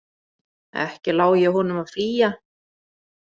Ekki lái ég honum að flýja.